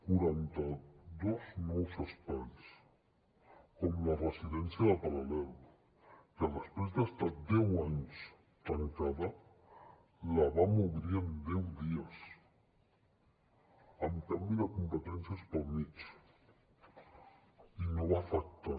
quaranta dos nous espais com la residència del paral·lel que després d’estar deu anys tancada la vam obrir en deu dies amb canvi de competències pel mig i no va afectar